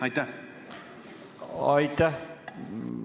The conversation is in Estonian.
Aitäh!